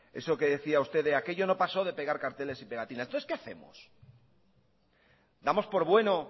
eso que decía usted de aquello no pasó de pegar carteles y pegatinas entonces qué hacemos damos por bueno